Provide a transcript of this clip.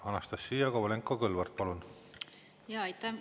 Anastassia Kovalenko-Kõlvart, palun!